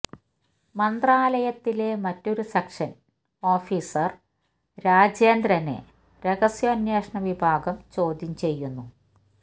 മന്ത്രാലയത്തിലെ മറ്റൊരു section officer രാജേന്ദ്രനെ രഹസ്യാന്വേഷണ വിഭാഗം ചോദ്യം ചെയ്യുന്നു